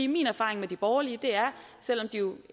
min erfaring med de borgerlige selv om de jo